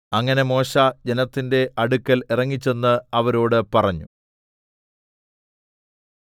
അങ്ങനെ മോശെ ജനത്തിന്റെ അടുക്കൽ ഇറങ്ങിച്ചെന്ന് അവരോടു പറഞ്ഞു